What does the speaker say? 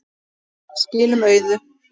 Skilum auðu.